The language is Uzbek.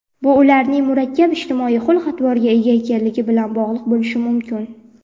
bu ularning murakkab ijtimoiy xulq-atvorga ega ekanligi bilan bog‘liq bo‘lishi mumkin.